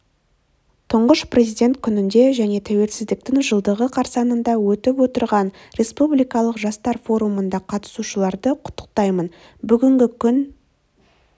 тұңғыш президент күнінде және тәуелсіздіктің жылдығы қарсаңында өтіп отырған республикалық жастар форумына қатысушыларды құттықтаймын бүгінгі күн